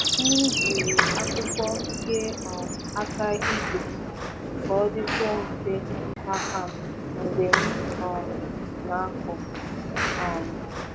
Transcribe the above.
M jiri akpụkpọ kee um aka ígwè m ka ọ dịkwuo mfe n’aka m mgbe m um na-akụ. um